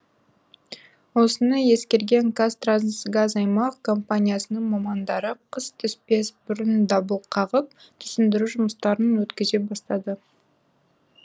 осыны ескерген қазтрансгаз аймақ компаниясының мамандары қыс түспес бұрын дабыл қағып түсіндіру жұмыстарын өткізе бастады